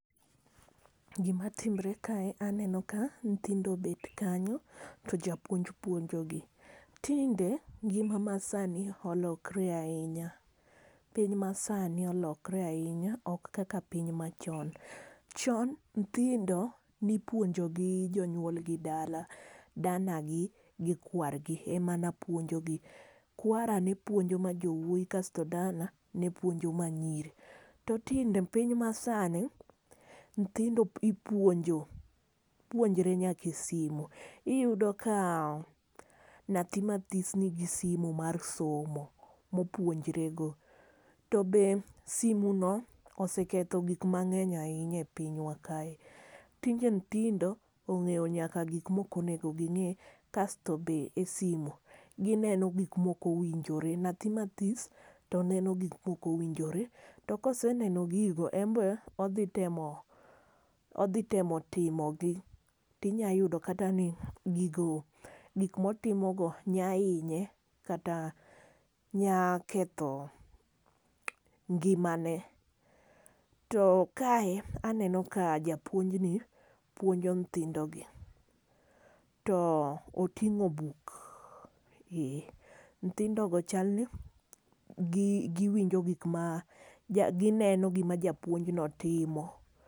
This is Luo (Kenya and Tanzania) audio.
Gima timore kae aneno ka nyithindo obet kanyo to japuonj puonjo gi. Tinde ngima ma sani olokre ahinya. Piny masani olokore ahinya ok kaka piny machon. Chon nyithindo ne ipuonjo gi jonuolgi dala, dana gi gi kwargi ema ne puonjogi. Kwara ne puonjo ma jowuoyi, kasto dana ne puonjo ma nyiri. To tinde piny masani nyithindo ipuonjo, puonjore nyaka e simu. Iyudo ka nyathi mathis nigi simu mar somo, ma opunjore go. To be simu no oseketho gik mang'eny ahinya e pinywa kae. Tinde nyithindo ong'eyo nyaka gik ma ok onego ging'e. Kasto be e simu, gineno gik ma ok owinjore. Nyathi mathis to neno gik ma ok owinjore. To ka oseneno gigo en be odhi temo, odhi temo timo gi. Tinyalo yudo kata ni, gigo, gik ma otimo go nyalo hinye, kata nyalo ketho ngimane. To kae aneno ka japuonj ni puonjo nyithindogi. To oting'o buk. Ee, nyithindo go chalni gi giwinjo gik ma, gineno gima japuonj no timo